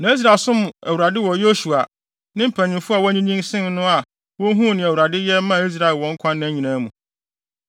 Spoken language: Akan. Na Israel som Awurade wɔ Yosua, ne mpanyimfo a wɔanyinyin sen no a wohuu nea Awurade yɛ maa Israel wɔn nkwa nna nyinaa mu.